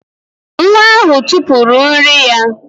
Nwa ahụ tụpụrụ nri ya